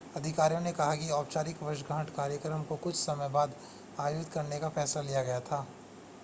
अधिकारियों ने कहा कि औपचारिक वर्षगांठ कार्यक्रम को कुछ समय बाद आयोजित करने का फैसला लिया गया था